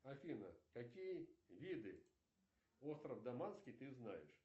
афина какие виды остров даманский ты знаешь